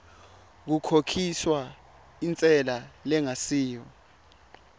kukhokhiswa intsela lengasiyo